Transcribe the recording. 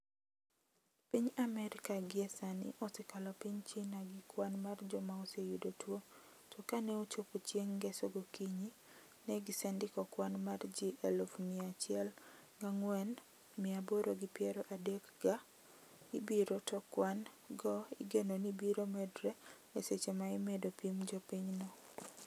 piny Amerika gie sani osekalo piny China gi kwan mar joma oseyudo tuo, to kaneochopo chieng ngeso gokinyi, ne gisendiko kwan mar ji eluf mia achiel ga angwen mia aboro gi peiro adek ga abirio to kwan go igeno ni biro medre e seche ma imedo pim jo pinyno